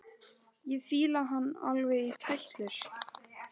Ég fíla hann alveg í tætlur!